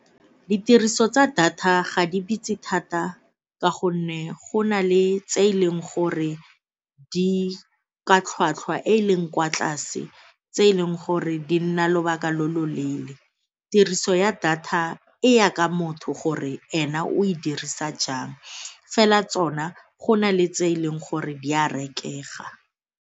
Ditiriso tsa data ga di bitse thata ka gonne go na le tse e leng gore di ka tlhwatlhwa e e leng kwa tlase tse e leng gore di nna lobaka lo lo leele, tiriso ya data e ya ka motho gore ena o e dirisa jang fela tsona go na le tse e leng gore di a rekega.